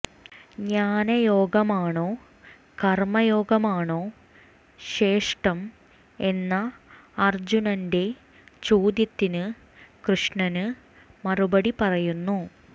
ജ്ഞാനയോഗമാണോ കര്മയോഗമാണോ ശ്രേഷ്ഠം എന്ന അര്ജുനന്റെ ചോദ്യത്തിന് കൃഷ്ണന് മറുപടി പറയുന്നു